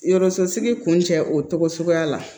Yɔrɔso sigi kun cɛ o togo suguya la